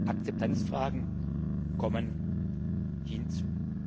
Akzeptanzfragen kommen hinzu.